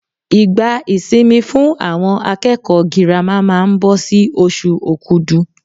Ìgbà ìsinmi fún àwọn akẹ́kọ̀ọ́ girama máa ń bọ sí oṣù okudu.